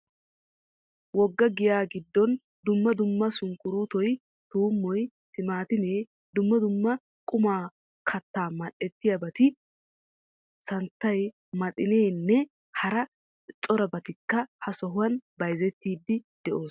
Wogga giyaa giddon dumma dumma sunkuruutoy, tuummoy, timaatimee dumma dumma qommo kattaa mal'ettiyoobati, samttay, maxinernne hara corabatikka ha sohuwan bayizettiiddi de'oosona.